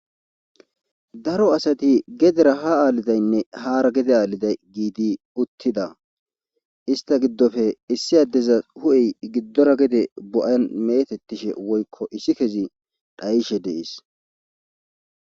Daro asati gedera ha aalidaynne haara gede aaliday giidi uttida ista giddofe issi addeza hu7ey giddora gede bo7an metettishe woykko issi kezi dhayishe dees